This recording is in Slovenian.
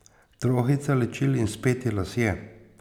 Trohica ličil in speti lasje.